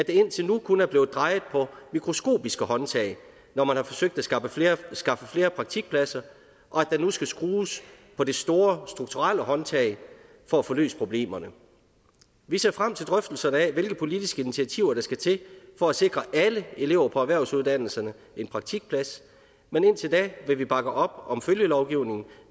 indtil nu kun er blevet drejet på mikroskopiske håndtag når man har forsøgt at skaffe flere skaffe flere praktikpladser og at der nu skal skrues på det store strukturelle håndtag for at få løst problemerne vi ser frem til drøftelserne af hvilke politiske initiativer der skal til for at sikre alle elever på erhvervsuddannelserne en praktikplads men indtil da vil vi bakke op om følgelovgivningen